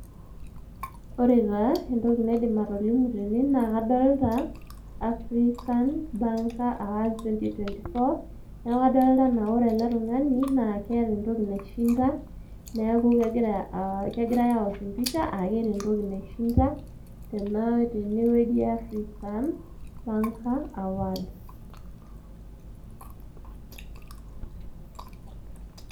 ore taa entoki naidim atolimu tene naa kadolta African banker awards two thousand twenty four niaku kadolta anaa ore ele tung'ani naa keeta entoki naishinda neeku kegirae awosh empisha akeeta entoki naishinda tenaa tenewueji e African banker awards.